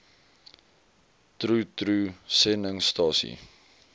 troe troe sendingstasie